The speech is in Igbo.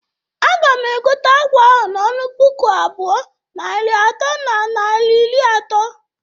Aga m egote akwa ahụ n'ọnụ puku abụọ, narị atọ na naira iri ato.